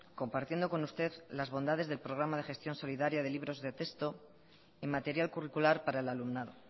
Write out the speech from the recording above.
compartiendo con usted las bondades del programa de gestión solidaria de libros de texto en material curricular para el alumnado